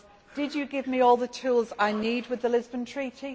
Did you give me all the tools I need with the Lisbon Treaty?